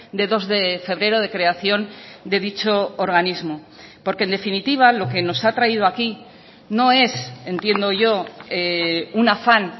de dos de febrero de creación de dicho organismo porque en definitiva lo que nos ha traído aquí no es entiendo yo un afán